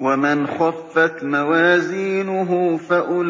وَمَنْ خَفَّتْ مَوَازِينُهُ فَأُولَٰئِكَ